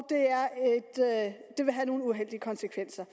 at det vil have nogle uheldige konsekvenser